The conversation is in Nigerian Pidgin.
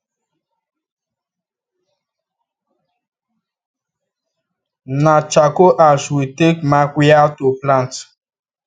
na charcoal ash we take mark wia to plant